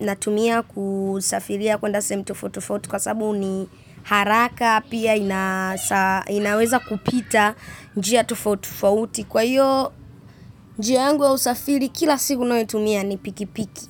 Natumia kusafiria kwenda sehemu tofauti tofauti kwa sabu ni haraka pia inasa inaweza kupita njia tofauti tofauti. Kwa hiyo, njia yangu ya usafiri kila siku ninayo itumia kila siku ni pikipiki.